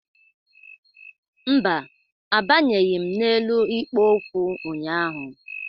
Mba, abanyeghị m n'elu ikpo okwu ụnyaahụ